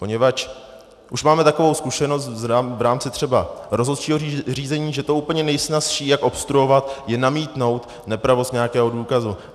Poněvadž už máme takovou zkušenost v rámci třeba rozhodčího řízení, že to úplně nejsnazší, jak obstruovat, je namítnout nepravost nějakého důkazu.